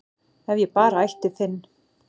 ef ég bara ætti Finn